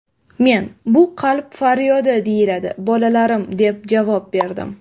Men: ‘Bu qalb faryodi deyiladi, bolalarim’, deb javob berdim.